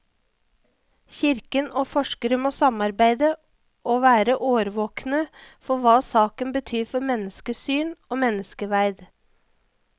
Kirken og forskere må samarbeide og være årvåkne for hva saken betyr for menneskesyn og menneskeverd.